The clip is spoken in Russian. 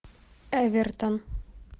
эвертон